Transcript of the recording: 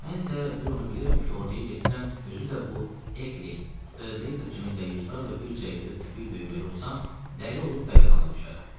Mən isə bir onu bilirəm ki, orduya getsəm, özü də bu Ekley, Stradlater kimi dəyyuslarla bir cərgədə təpik döyməli olsam, dəli olub dəlixanaya düşərəm.